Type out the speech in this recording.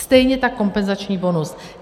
Stejně tak kompenzační bonus.